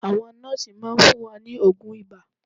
Àwọn nọ́ọ́sì máa fún wa ní oògùn ibà